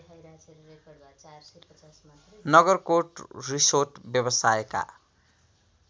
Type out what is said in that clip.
Nagarkot resort व्यवसायका